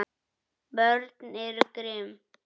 Börn eru grimm.